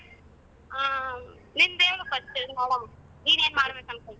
ಹ ನಿಂದ ಹೇಳು first ನೋಡೋವ್ ನೀನ್ ಏನ್ ಮಾಡ್ಬೇಕು ಅನ್ಕೊಂಡಿ?